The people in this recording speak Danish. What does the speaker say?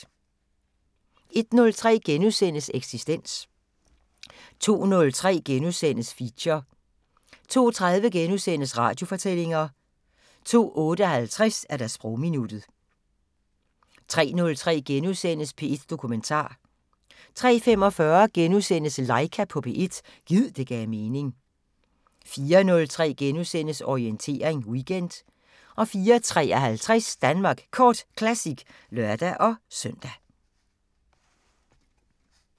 01:03: Eksistens * 02:03: Feature * 02:30: Radiofortællinger * 02:58: Sprogminuttet 03:03: P1 Dokumentar * 03:45: Laika på P1 – gid det gav mening * 04:03: Orientering Weekend * 04:53: Danmark Kort Classic (lør-søn)